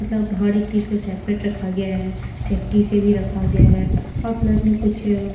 मतलब हर एक चीज को सेपरेट रखा गया है सेफ्टी से भी रखा गया है और प्लस में कुछ --